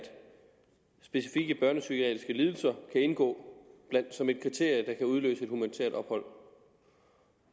specifikke børnepsykiatriske lidelser kan indgå som et kriterium der kan udløse humanitært ophold